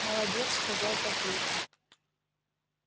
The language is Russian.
молодец сказал папулька